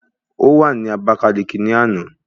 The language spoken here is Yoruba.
Ó wà ní Àbákáliki ní àná